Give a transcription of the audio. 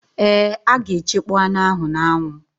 Ee, a ga-echekpọ anụ ahụ n'anwụ